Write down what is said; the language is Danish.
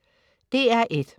DR1: